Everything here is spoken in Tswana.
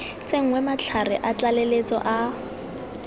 tsenngwe matlhare a tlaleletso a